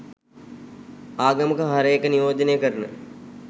ආගමක හරය එක නියෝජනය කරන